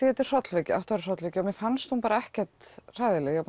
þetta er hrollvekja hrollvekja mér fannst hún bara ekkert hræðileg ég